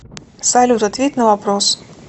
салют ответь на вопрос